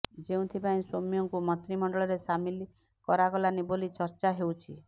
ଯେଉଁଥିପାଇଁ ସୌମ୍ୟଙ୍କୁ ମନ୍ତ୍ରିମଣ୍ଡଳରେ ସାମିଲ କରାଗଲାନି ବୋଲି ଚର୍ଚ୍ଚା ହେଉଛି